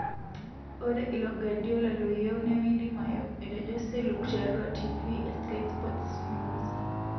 Ore ilo Guardiola loyieu nemeidimayu,''etejo Seluk tiatua tifii e Sky Sport News.